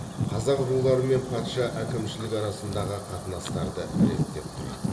қазақ руларымен патша әкімшілік арасындағы қатынастарды реттеп тұрады